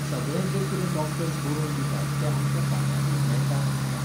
सगळें जे कितेंं डॉक्टर्स बरोवन दितात तें आमच्या फार्मसींत मेळटा अशें ना